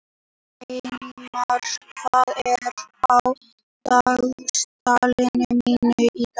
Sveinmar, hvað er á dagatalinu mínu í dag?